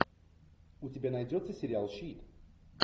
у тебя найдется сериал щит